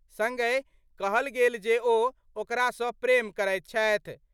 संगहि कहल गेल जे ओ ओकरा सं प्रेम करैत छथि।